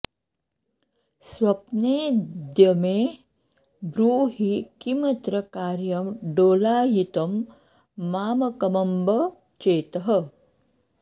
स्वप्नेऽद्य मे ब्रूहि किमत्र कार्यं डोलायितं मामकमम्ब चेतः